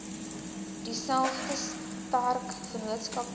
dieselfde sterk vennootskappe